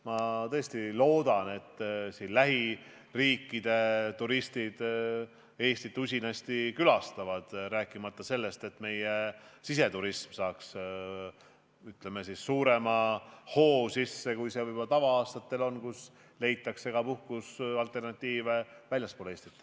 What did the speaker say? Ma tõesti loodan, et lähiriikide turistid Eestit usinasti külastavad, rääkimata sellest, et meie siseturism saab sisse suurema hoo, kui see võib-olla tavalistel aastatel on olnud, kui puhkusealternatiive on leitud väljaspool Eestit.